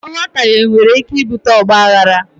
Nghọtaghe nwere ike ibute ọgbaaghara.